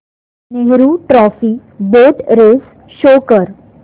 Nehru trophy boat race show कर